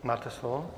Máte slovo.